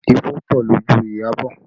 Ifo pọ lójú Iyabọ̀